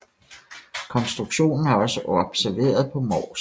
Konstruktionen er også observeret på Mors